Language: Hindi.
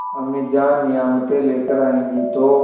अम्मीजान नियामतें लेकर आएँगी तो